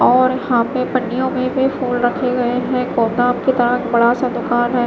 और यहां पे पन्नियों में भी फूल रखे गए हैं कौताम की तरह बड़ासा दुकान है।